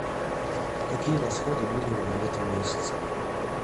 какие расходы были у меня в этом месяце